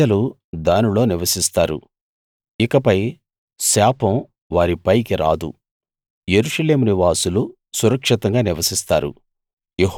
ప్రజలు దానిలో నివసిస్తారు ఇకపై శాపం వారి పైకి రాదు యెరూషలేము నివాసులు సురక్షితంగా నివసిస్తారు